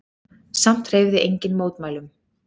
Samt hreyfði enginn mótmælum.